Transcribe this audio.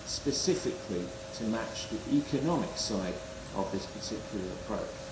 specifically to match the economic side of this particular approach.